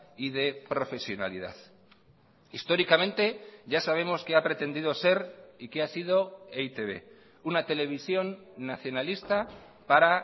y de profesionalidad históricamente ya sabemos qué ha pretendido ser y qué ha sido e i te be una televisión nacionalista para